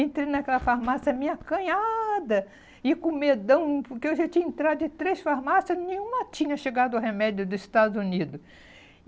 Entrei naquela farmácia meio acanhada e com medão, porque eu já tinha entrado em três farmácias e nenhuma tinha chegado remédio dos Estados Unidos.